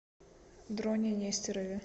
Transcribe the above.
дроне нестерове